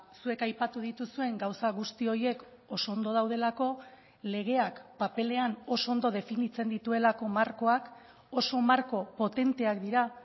zuek aipatu dituzuen gauza guzti horiek oso ondo daudelako legeak paperean oso ondo definitzen dituelako markoak oso marko potenteak dira